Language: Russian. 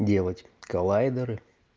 делать коллайдеры